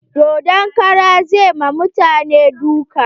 Dodon karan zai ma mutane duka.